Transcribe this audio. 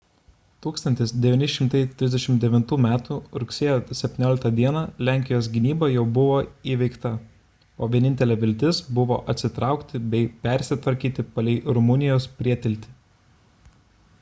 1939 m rugsėjo 17 d lenkijos gynyba jau buvo įveikta o vienintelė viltis buvo atsitraukti bei persitvarkyti palei rumunijos prietiltį